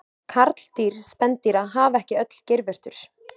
karldýr spendýra hafa ekki öll geirvörtur